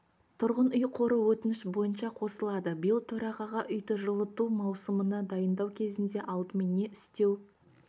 тұрғын үй қоры өтініш бойынша қосылады биыл төрағаға үйді жылыту маусымына дайындау кезінде алдымен не істеу